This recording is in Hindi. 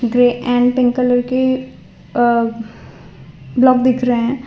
ग्रे एंड पिंक कलर के अह ब्लॉक दिख रहे हैं।